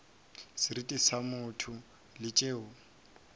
seriti sa motho le tšeo